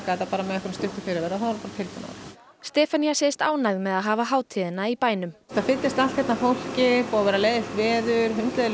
þetta með stuttum fyrirvara bara tilbúnar Stefanía segist ánægð með að hafa hátíðina í bænum það fyllist allt hérna af fólki búið að vera leiðinlegt veður